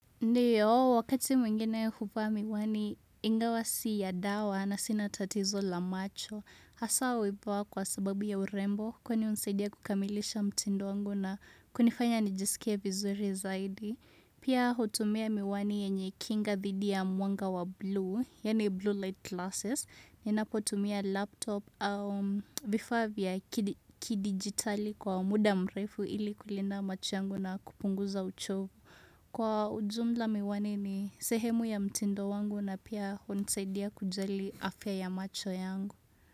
Ndio, wakati mwingine hufaa miwani ingawasi ya dawa na sinatatizo la macho. Hasa huipaa kwa sababu ya urembo, kwani unsaidia kukamilisha mtindo wangu na kunifanya nijisikie vizuri zaidi. Pia hutumia miwani yenye kinga dhidi ya mwanga wa blue, yani blue light glasses. Ninapotumia laptop au vifaa vya kidi kidigitali kwa muda mrefu ili kulinda macho yangu na kupunguza uchovu. Kwa ujumla miwani ni, sehemu ya mtindo wangu na pia hunsaidia kujali afya ya macho yangu.